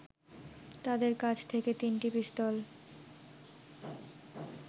তাদের কাছ থেকে তিনটি পিস্তল